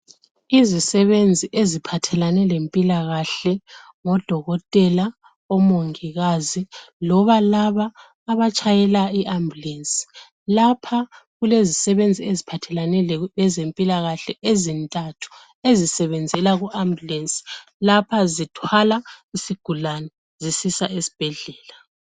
izisebenzi eziphathelane lempilakahle ngodokotela omongikazi loba laba abatshayela i ambulensi lapha kulezisebenzi eziphathelane lezempilakahle ezintathu ezisebenzela ku ambulensi lapha zithwala isigulane zisisa esibhedlela